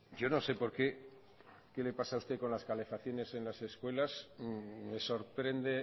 yo no sé por qué qué le pasa a usted con las calefacciones en las escuelas me sorprende